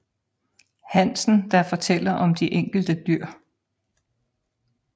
Hansen der fortæller om de enkelte dyr